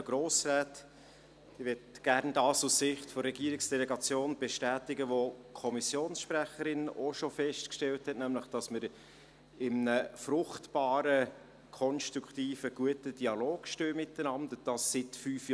Ich möchte aus Sicht der Regierungsdelegation bestätigen, was die Kommissionssprecherin auch schon festgestellt hat, nämlich, dass wir miteinander in einem fruchtbaren, konstruktiven, guten Dialog stehen – dies seit fünf Jahren.